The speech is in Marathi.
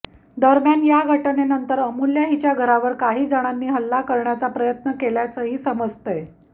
दरम्यान या घटनेनंतर अमूल्या हिच्या घरावर काही जणांनी हल्ला करण्याचा प्रयत्न केल्याचंही समजतंय